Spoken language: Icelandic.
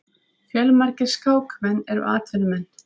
Fjölmargir skákmenn eru atvinnumenn.